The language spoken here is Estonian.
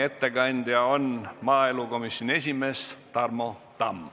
Ettekandja on maaelukomisjoni esimees Tarmo Tamm.